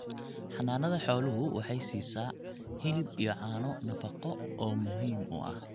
Xanaanada xooluhu waxay siisaa hilib iyo caano nafaqo oo muhiim u ah.